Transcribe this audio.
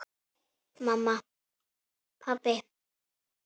Mamma. pabbi.